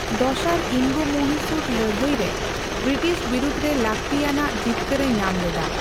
ᱫᱚᱥᱟᱨ ᱤᱝᱜᱚᱼᱢᱚᱦᱤᱥᱩᱨ ᱞᱟᱹᱲᱦᱟᱹᱭ ᱨᱮ ᱵᱨᱤᱴᱤᱥ ᱵᱤᱨᱩᱫ ᱨᱮ ᱞᱟᱹᱠᱛᱤᱭᱟᱱᱟᱜ ᱡᱤᱛᱠᱟᱹᱨᱮ ᱧᱟᱢ ᱞᱮᱫᱟ ᱾